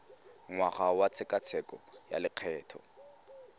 ngwaga wa tshekatsheko ya lokgetho